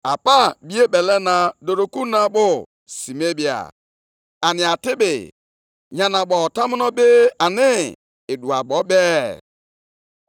mụ onwe m ga-anọgide na-aṅụrị ọṅụ nʼime Onyenwe anyị. Aga m etegharịkwa egwu ọṅụ nʼime Chineke Onye nzọpụta m.